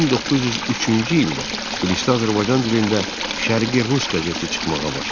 1903-cü ildə Tiflisdə Azərbaycan dilində Şərqi rus qəzeti çıxmağa başladı.